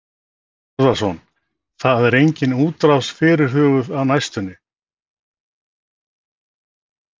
Þorbjörn Þórðarson: En það er engin útrás fyrirhuguð á næstunni?